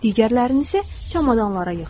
Digərlərini isə çamadanlara yığdı.